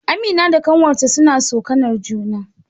Amina da ƙanwarta suna tsokanar juna